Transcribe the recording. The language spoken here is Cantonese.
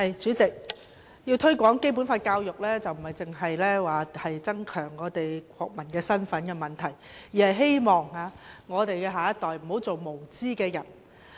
主席，要推廣《基本法》的教育，不單是增強國民身份的問題，而是希望我們的下一代不要做無知的人。